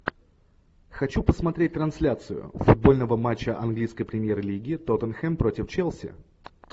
хочу посмотреть трансляцию футбольного матча английской премьер лиги тоттенхэм против челси